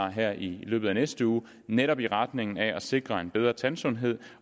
her i løbet af næste uge netop i retning af at sikre en bedre tandsundhed